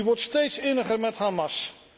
Die wordt steeds inniger met Hamas.